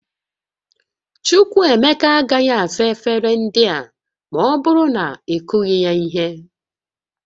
Chukwuemeka agaghị asa efere ndị a ma ọ bụrụ na ị kụghị ya ihe